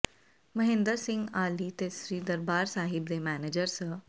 ਮਹਿੰਦਰ ਸਿੰਘ ਆਹਲੀ ਤੇ ਸ੍ਰੀ ਦਰਬਾਰ ਸਾਹਿਬ ਦੇ ਮੈਨੇਜਰ ਸ